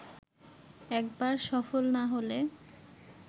একবার সফল না হলে